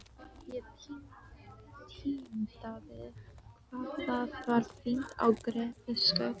Ég tíundaði hvað það var fínt á Grettisgötu.